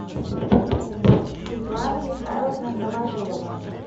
светлана михайловна новожилова